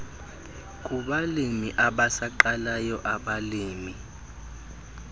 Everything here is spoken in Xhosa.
kubalimi abasaqalayo abalimi